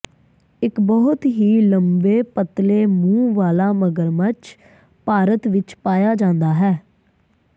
ਇਕ ਬਹੁਤ ਹੀ ਲੰਬੇ ਪਤਲੇ ਮੂੰਹ ਵਾਲਾ ਮਗਰਮੱਛ ਭਾਰਤ ਵਿਚ ਪਾਇਆ ਜਾਂਦਾ ਹੈ